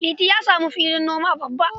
Liti samu filin noma babba.